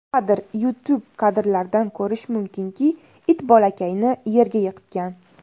Kadr: YouTube Kadrlardan ko‘rish mumkinki, it bolakayni yerga yiqitgan.